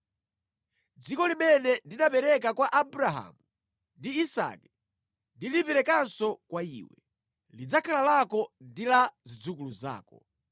Dziko limene ndinapereka kwa Abrahamu ndi Isake ndiliperekanso kwa iwe. Lidzakhala lako ndi la zidzukulu zako.”